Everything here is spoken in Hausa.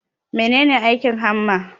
Mene ne aikin hamma?